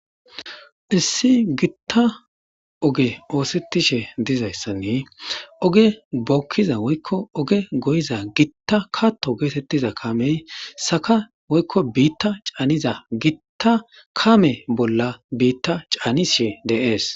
issi gitta oge oosettishe dizayssanne oge bookkiza woykko oge goyiza gitta katto geetettiza kamey saka woykko biitta caaniza gitta kame bolla biitta caanishe deees